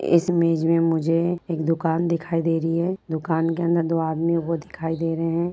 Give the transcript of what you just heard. इस इमेज में मुझे एक दुकान दिखाई दे रही है। दुकान के अंदर दो आदमी वो दिखाई दे रहे हैं।